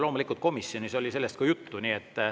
Loomulikult oli komisjonis ka sellest juttu.